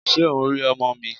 Ṣé o ń rí ọmọ mi?